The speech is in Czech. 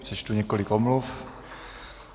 Přečtu několik omluv.